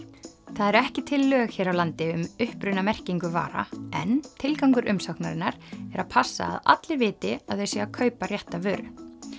það eru ekki til lög hér á landi um upprunamerkingu vara en tilgangur umsóknarinnar er að passa að allir viti að það sé að kaupa rétta vöru